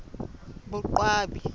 boqwabi